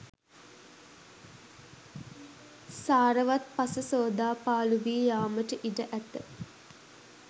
සාරවත් පස සෝදා පාළු වී යාමට ඉඩ ඇත.